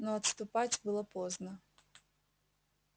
но отступать было поздно